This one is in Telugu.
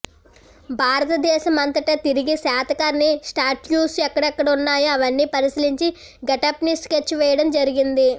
భారత దేశమంతటా తిరిగి శాతకర్ణి స్టాట్యూస్ ఎక్కడెక్కడ ఉన్నాయో అవన్నీ పరిశీలించి గెటప్ని స్కెచ్ వేయడం జరిగింది